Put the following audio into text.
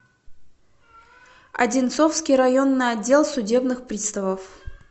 одинцовский районный отдел судебных приставов